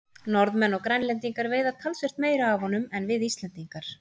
Norðmenn og Grænlendingar veiða talsvert meira af honum en við Íslendingar.